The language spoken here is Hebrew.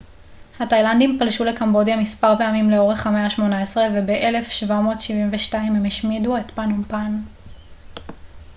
התאילנדים פלשו לקמבודיה מספר פעמים לאורך המאה ה-18 וב-1772 הם השמידו את פנום פן